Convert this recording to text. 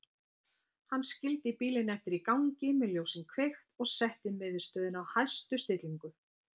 Hann skildi bílinn eftir í gangi með ljósin kveikt og setti miðstöðina á hæstu stillingu.